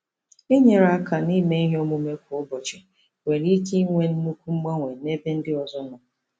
Inyere aka n'ime ihe omume kwa ụbọchị nwere ike inwe nnukwu mgbanwe n'ebe ndị ọzọ nọ.